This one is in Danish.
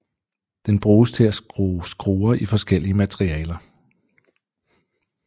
Den bruges til at skrue skruer i forskellige materialer